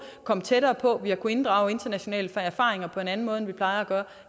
komme tættere på at vi har kunnet inddrage internationale erfaringer på en anden måde end vi plejer at gøre